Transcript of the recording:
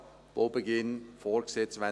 Der Baubeginn ist für 2022 vorgesehen.